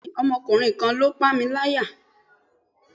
bẹẹni, Ọmọkunrin kan lo pámíláyá